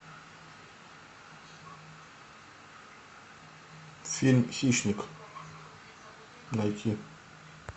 фильм хищник найти